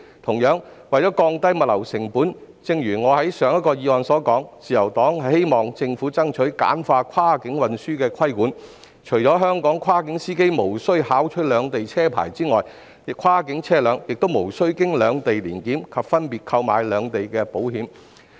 此外，為了降低物流成本，正如我就上一項議案發言時所說，自由黨希望政府爭取簡化跨境運輸的規管，除香港跨境司機無須考取兩地的駕駛執照外，跨境車輛亦無須通過兩地的年檢及分別購買兩地的保險。